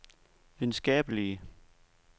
videnskabelige